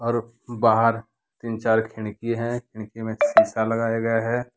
बाहर तीन चार खिड़की है खिड़की मे शीशा लगया गया है।